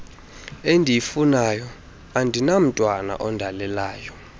endiyifunayo andinamntwana ondalelelayo